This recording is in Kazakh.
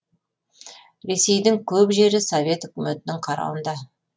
ресейдің көп жері совет өкіметінің қарауында